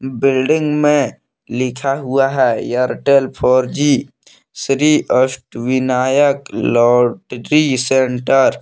building में लिखा हुआ है Airtel four G Shri Ashtavinayak lottery centre